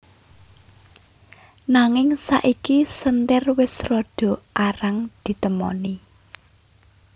Nanging saiki senthir wis rada arang ditemoni